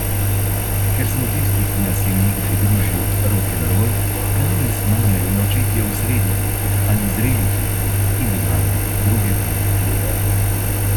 Ker smo tisti, ki nas je nekdaj družil rokenrol, danes mame in očetje v srednjih ali zrelih letih in imamo druge prioritete.